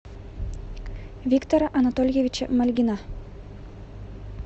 виктора анатольевича мальгина